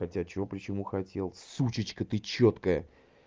хотя чего почему хотел сучечка ты чёткая